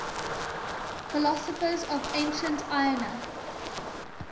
philosophers of ancient ionia